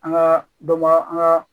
An ka dɔ ba an ka